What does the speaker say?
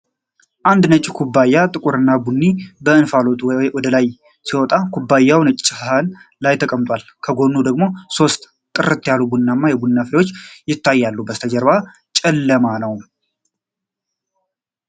አንድ ነጭ ኩባያ ጥቁር ቡና በእንፋሎት ወደ ላይ ሲወጣ ። ኩባያው ነጭ ሳህን ላይ ተቀምጧል፣ ከጎኑ ደግሞ ሶስት ጥርት ያሉ ቡናማ የቡና ፍሬዎች ይታያሉ። ከበስተጀርባው ጨለማ ነው።